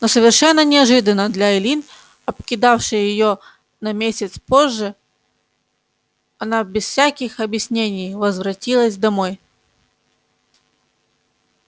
но совершенно неожиданно для эллин обкидавший её на месяц позже она без всяких объяснений возвратилась домой